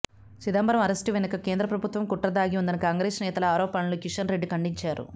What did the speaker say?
Chidambaram arrest వెనుక కేంద్ర ప్రభుత్వం కుట్ర దాగి ఉందన్న కాంగ్రెస్ నేతల ఆరోపణలను కిషన్ రెడ్డి ఖండించారు